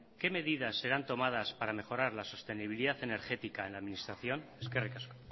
qué medidas serán tomadas para mejorar la sostenibilidad energética en la administración eskerrik asko